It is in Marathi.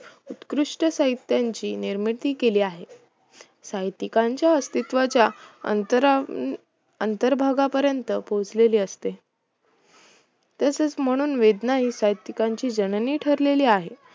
उत्कृष्ट साहित्याची निर्मिती केली आहे साहित्यिकांच्या अस्तित्वाच्या अंतरा अंतरभागापर्यंत पोहोचलेली असते तसेच म्हणून वेदना ही साहित्यिकांची जननी ठरली आहे